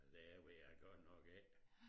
Det ved jeg godt nok ikke